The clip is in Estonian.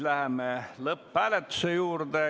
Läheme siis lõpphääletuse juurde.